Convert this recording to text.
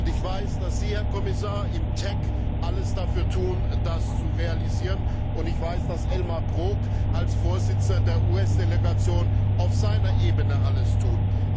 Und ich weiß, dass Sie, Herr Kommissar, im TEC alles dafür tun, das zu realisieren, und ich weiß, dass Elmar Brok als Vorsitzender der US Delegation auf seiner Ebene alles tut.